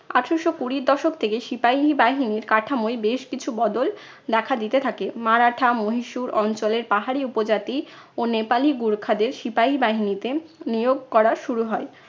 আঠারশো কুড়ির দশক থেকে সিপাহী বাহিনীর কাঠামোয় বেশ কিছু বদল দেখা দিতে থাকে। মারাঠা মহিশুর অঞ্চলের পাহাড়ি উপজাতি ও নেপালি গুরখাদের সিপাহী বাহিনীতে নিয়োগ করা শুরু হয়।